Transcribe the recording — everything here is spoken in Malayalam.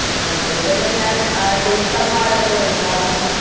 അഹ് കൂടുതലും ഞാൻ അഹ് Teacher മാരെടുത്ത് ചോയിക്കും കാരണം